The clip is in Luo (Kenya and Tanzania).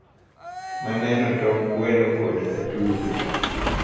Naneno tong gweno kod atudo.